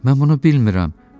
Mən bunu bilmirəm.